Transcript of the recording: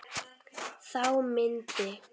Þá myndi